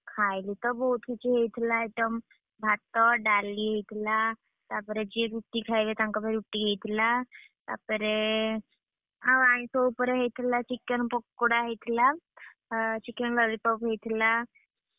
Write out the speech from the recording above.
ଖାଇଲୁ ତ ବୋହୁତ କିଛି ହେଇଥିଲା item ଭାତ, ଡାଲି ହେଇଥିଲା, ତାପରେ ଯିଏ ରୁଟିଖାଇବେ ତାଙ୍କ ପାଇଁ ରୁଟି ହେଇଥିଲା। ତାପରେ, ଆଉ ଆଇଁଷ ଉପରେ ହେଇଥିଲା chicken ପକୋଡା ହେଇଥିଲା, chicken lollipop ହେଇଥିଲା, ।